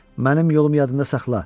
Mənim yolum yadında saxla.